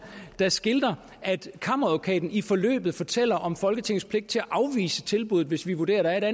der skildrer at kammeradvokaten i forløbet fortæller om folketingets pligt til at afvise tilbuddet hvis vi vurderede at der